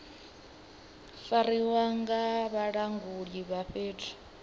fariwa nga vhalanguli vha fhethu